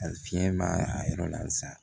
A fiɲɛ b'a a yɔrɔ la sa